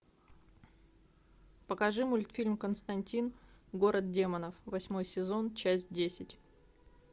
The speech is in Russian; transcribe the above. покажи мультфильм константин город демонов восьмой сезон часть десять